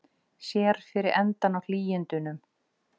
Sér fyrir endann á hlýindunum